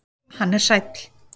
Hann er sæll.